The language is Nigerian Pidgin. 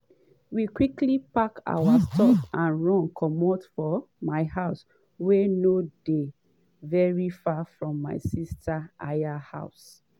“we quickly pack our stuff and run comot to my house wey no dey veri far from my sister aya house.”